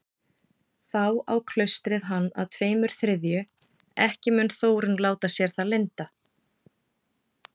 Þá á klaustrið hann að tveimur þriðju, ekki mun Þórunn láta sér það lynda.